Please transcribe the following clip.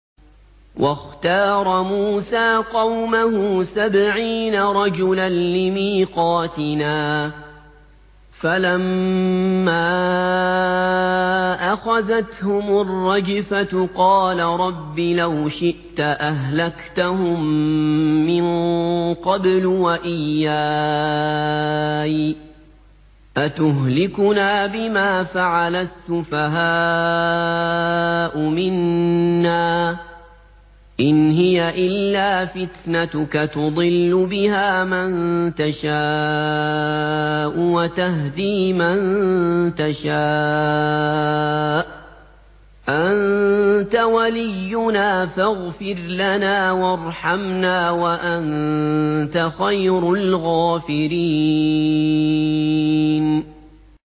وَاخْتَارَ مُوسَىٰ قَوْمَهُ سَبْعِينَ رَجُلًا لِّمِيقَاتِنَا ۖ فَلَمَّا أَخَذَتْهُمُ الرَّجْفَةُ قَالَ رَبِّ لَوْ شِئْتَ أَهْلَكْتَهُم مِّن قَبْلُ وَإِيَّايَ ۖ أَتُهْلِكُنَا بِمَا فَعَلَ السُّفَهَاءُ مِنَّا ۖ إِنْ هِيَ إِلَّا فِتْنَتُكَ تُضِلُّ بِهَا مَن تَشَاءُ وَتَهْدِي مَن تَشَاءُ ۖ أَنتَ وَلِيُّنَا فَاغْفِرْ لَنَا وَارْحَمْنَا ۖ وَأَنتَ خَيْرُ الْغَافِرِينَ